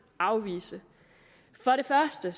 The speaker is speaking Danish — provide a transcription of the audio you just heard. afvise for det første